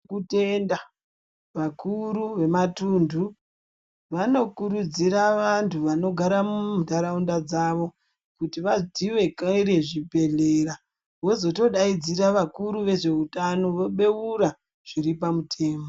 Kutenda vakuru vematuntu vanokurudzira vantu vanogara muntaraunda dzavo kuti vadziwekere zvibhedhlera vozotodaidzira vakuru vezveutano vobeura zviri pamutemo.